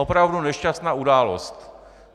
Opravdu nešťastná událost.